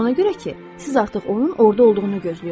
Ona görə ki, siz artıq onun orada olduğunu gözləyirsiniz.